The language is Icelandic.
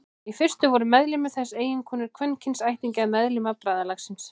Í fyrstu voru meðlimir þess eiginkonur og kvenkyns ættingjar meðlima bræðralagsins.